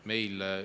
Meil …